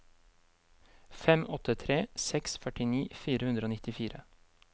fem åtte tre seks førtini fire hundre og nittifire